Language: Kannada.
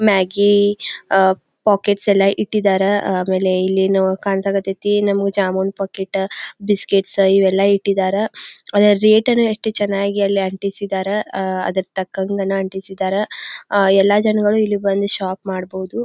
ಮ್ಯಾಗ್ಗಿ ಅಹ್ ಪಾಕೆಟ್ಸ್ ಎಲ್ಲಾ ಇಟ್ಟಿದ್ದಾರೆ. ಆಮೇಲೆ ಇಲ್ಲೇನೋ ಕಾಣ್ ಸಕತೈತಿ ನಮಗ ಜಾಮೂನ್ ಪಾಕೆಟ್ ಬಿಸ್ಕೆಟ್ಸ್ ಇವೆಲ್ಲಾ ಇಟ್ಟಿದ್ದರ. ಒಳ್ಳೆ ರೇಟ್ ಎಲ್ಲಾ ಎಷ್ಟು ಚನ್ನಾಗಿ ಅಲ್ಲಿ ಅಂಟಿಸಿದ್ದರ್ ಅಹ್ ಅದರ ತಕ್ಕಂಗನ್ ಅಂಟಿಸಿದ್ದರ್. ಅಹ್ ಎಲ್ಲಾ ಜನಗಳು ಇಲ್ಲಿ ಬಂದು ಶಾಪ್ ಮಾಡಬಹುದು.